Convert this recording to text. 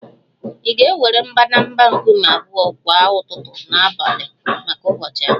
Ị ga-ewere mbadamba nkume abụọ kwa ụtụtụ na abalị maka ụbọchị abụọ